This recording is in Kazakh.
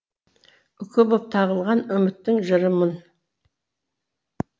үкі боп тағылған үміттің жырымын